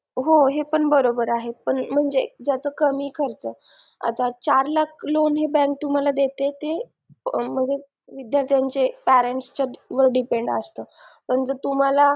हो हे पण बरोबर आहे पण म्हणजे ज्याचा कमी खर्च आता चार लाख लोन हे bank तुम्हाला देते ते विद्यार्थ्यांचे parents वर depend असतं जर तुम्हाला